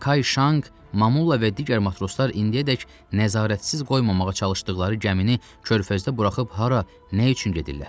Kay Şanq, Mamulla və digər matroslar indiyədək nəzarətsiz qoymamağa çalışdıqları gəmini körfəzdə buraxıb hara, nə üçün gedirlər?